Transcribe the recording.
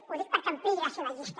ho dic perquè ampliï la seva llista